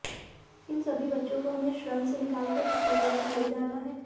इन सभी बच्चों को हमें श्रम से निकालकर स्कूलों तक ले जाना है